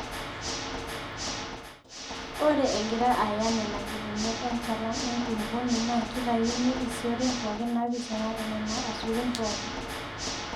Ore egira Aaya nenakipimot enchalan enkulupuoni naa keitayuni isiooten pooki naapising'are Nena asukun pookin.